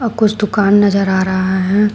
कुछ दुकान नजर आ रहा है।